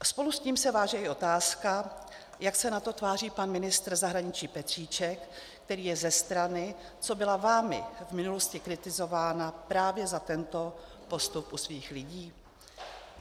Spolu s tím se váže i otázka, jak se na to tváří pan ministr zahraničí Petříček, který je ze strany, co byla vámi v minulosti kritizována právě za tento postup u svých lidí?